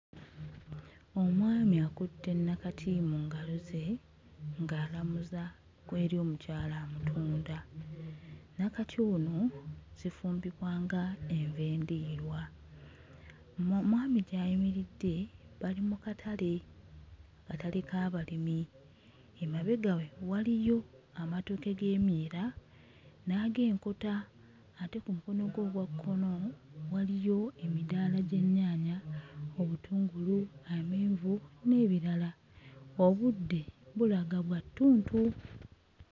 Omwami akutte nnakati mu ngalo ze ng'alamuza eri omukyala amutunda nnakati ono zifumbibwa nga enva endiirwa mo omwami gy'ayimiridde bali mu katale katale k'abalimi emabega we waliyo amatooke g'emyera n'ag'enkota ate ku mukono gwe ogwa kkono waliyo emidaala gy'ennyaanya, obutungulu, amenvu n'ebirala obudde bulaga bwa ttuntu.